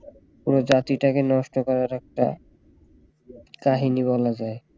পুরো জাতিটাকে নষ্ট করার একটা কাহিনী বলা যায়